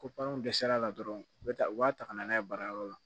Ko paranw dɛsɛl'a la dɔrɔn u bɛ taa u b'a ta ka na n'a ye baarayɔrɔ la